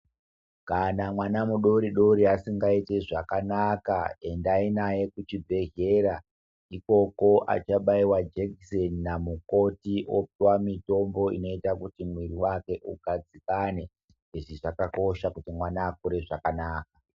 Kana mwana mudori dori asingaiti zvakanaka, endai naye kuchibhendlera. Ikoko achabaiwa jekiseni namukoti opiwa mutombo unoita kuti mwiri wake ugadzikane. Izvi zvakakosha kuti mwana akure zvakanaka.